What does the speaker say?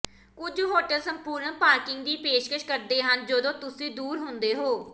ਕੁਝ ਹੋਟਲ ਸੰਪੂਰਨ ਪਾਰਕਿੰਗ ਦੀ ਪੇਸ਼ਕਸ਼ ਕਰਦੇ ਹਨ ਜਦੋਂ ਤੁਸੀਂ ਦੂਰ ਹੁੰਦੇ ਹੋ